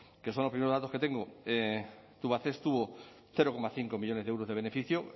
que son los primeros datos que tengo tubacex tuvo cero coma cinco millónes de euros de beneficio